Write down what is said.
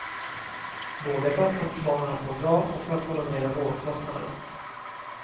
Både för att få barnen att må bra och för att hålla nere vårdkostnaderna.